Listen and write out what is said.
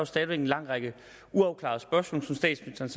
stadig væk en lang række uafklarede spørgsmål som statsministeren